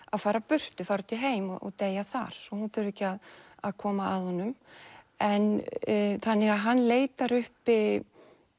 að fara burtu fara út í heim og deyja þar svo hún þurfi ekki að að koma að honum þannig að hann leitar uppi